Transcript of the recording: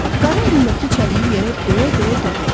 Qarı əlindəki çəliyi yerə döyə-döyə dedi: